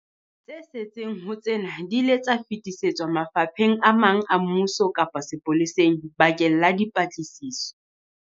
Tse setseng ho tsena di ile tsa fetisetswa mafapheng a mang a mmuso kapa sepoleseng bakeng la dipatlisiso.